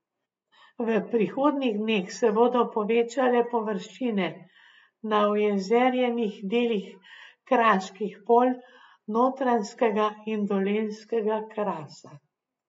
V prihodnjih dneh se bodo povečale površine na ojezerjenih delih kraških polj Notranjskega in Dolenjskega krasa.